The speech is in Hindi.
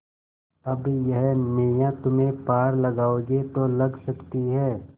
अब यह नैया तुम्ही पार लगाओगे तो लग सकती है